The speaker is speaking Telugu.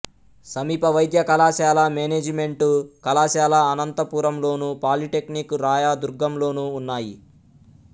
సమీప వైద్య కళాశాల మేనేజిమెంటు కళాశాల అనంతపురంలోను పాలీటెక్నిక్ రాయదుర్గంలోనూ ఉన్నాయి